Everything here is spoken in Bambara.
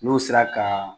N'o sera ka